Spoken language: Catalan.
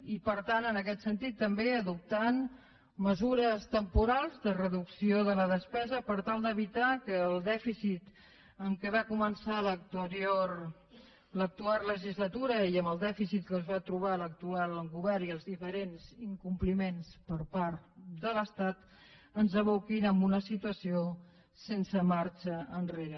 i per tant en aquest sentit també adoptar mesures temporals de reducció de la despesa per tal d’evitar que el dèficit amb què va començar l’actual legislatura i amb el dèficit amb què es va trobar l’actual govern i els diferents incompliments per part de l’estat ens aboquin a una situació sense marxa enrere